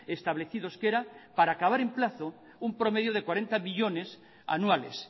establecidos que era para acabar en plazo un promedio de cuarenta millónes anuales